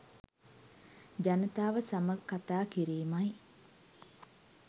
ජනතාව සමග කතා කිරීමයි.